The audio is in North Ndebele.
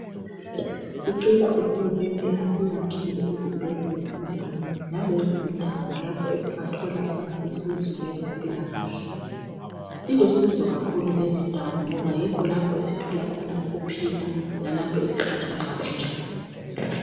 Sicela uhulumende asiyakhele izibhedlela ezinengi lalezo indawo lapho esingathola khona usizo ngezempilakahle zilusizo kakhulu lezindawo ngoba yikho esithola khona ukuphila lalapho esigijimela khona nxa sigula.